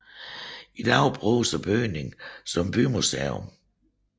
I dag bruges bygningen som bymuseum